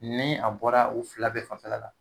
Ni a bɔra u fila bɛɛ fanfɛla la